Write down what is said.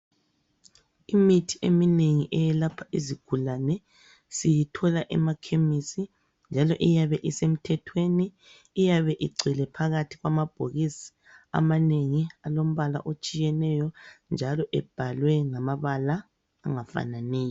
Imithi eminengi eyelapha izigulane siyithola emakhemisi njalo iyabe isemthethweni. Iyabe igcwele phakathi kwamabhokisi amanengi alombala otshiyeneyo njalo ebhalwe ngamabala angafananiyo.